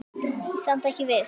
Ég er samt ekki viss.